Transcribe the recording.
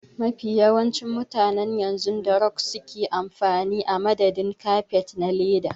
Mafi yawancin mutane yanzu da rog suke amfani a madadin kafet na leda.